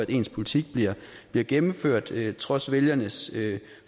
ens politik bliver bliver gennemført trods vælgernes